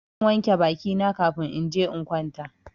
Zan wanke baki na kafin in je in kwanta.